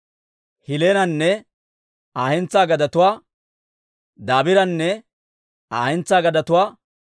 Hiilenanne Aa hentsaa gadetuwaa, Dabiiranne Aa hentsaa gadetuwaa,